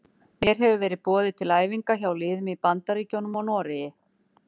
Mér hefur verið boðið til æfinga hjá liðum í Bandaríkjunum og Noregi.